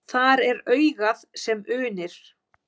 Þar er augað sem unir.